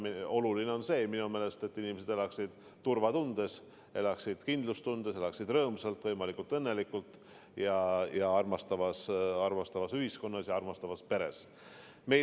Oluline on minu meelest see, et inimesed elaksid turvaliselt, elaksid kindlustundes, elaksid rõõmsalt, võimalikult õnnelikult ja armastavas ühiskonnas ja armastavas peres.